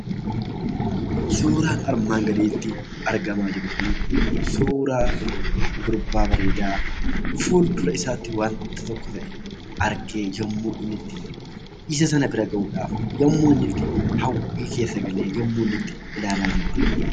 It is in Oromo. Suuraan armaan gaditti argamaa jiru Kun, suuraa gurbaa bareedaa fuuldura isaatti waanti tokko ta'e argee. yemmuu inni itti isa sana bira gahuudhaaf, yemmuu itti hawwii keessa galee yemmuu inni ilaalaa jiru argina.